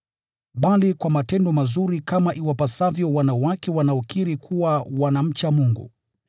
bali kwa matendo mazuri kama iwapasavyo wanawake wanaokiri kuwa wanamcha Mungu.